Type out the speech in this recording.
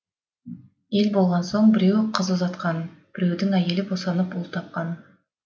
ел болған соң біреу қыз ұзатқан біреудің әйелі босанып ұл тапқан